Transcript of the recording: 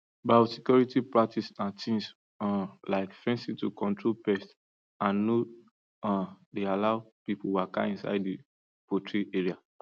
biosecurity practice na things um like fencing to control pest and no um dey allow people walka inside the poultry area